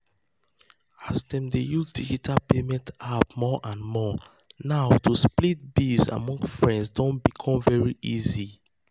as dem dey use digital payment apps more and more now to split bills among friends don become very easy.